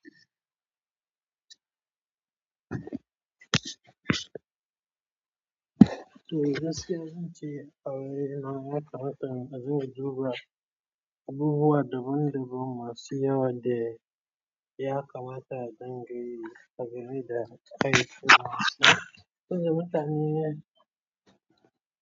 Eh, gaskiya zan ce a waye na ya kamata mu zo mu zuba abubuwa daban-daban masu yawa da ya kamata a dinga yi a gari da kai kuma saboda mutane.